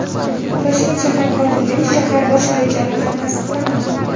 Toshkent shahar hokimligi: Shahar bosh rejasi hali tasdiqlanmadi.